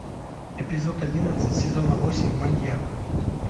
эпизод одиннадцать сезона восемь маньяк